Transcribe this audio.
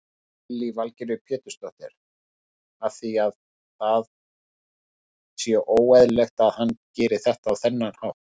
Lillý Valgerður Pétursdóttir: Að það sé óeðlilegt að hann geri þetta á þennan hátt?